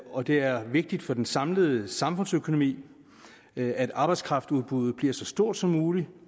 og det er vigtigt for den samlede samfundsøkonomi at arbejdskraftudbuddet blive så stort som muligt